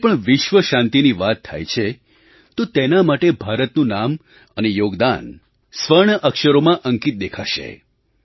જ્યારે પણ વિશ્વ શાંતિની વાત થાય છે તો તેના માટે ભારતનું નામ અને યોગદાન સ્વર્ણ અક્ષરોમાં અંકિત દેખાશે